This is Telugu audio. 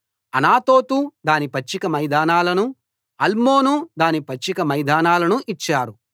అనాతోతు దాని పచ్చిక మైదానాలనూ అల్మోను దాని పచ్చిక మైదానాలనూ ఇచ్చారు